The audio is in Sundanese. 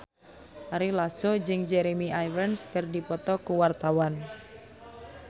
Ari Lasso jeung Jeremy Irons keur dipoto ku wartawan